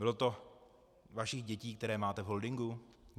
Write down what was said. Bylo to vašich dětí, které máte v holdingu?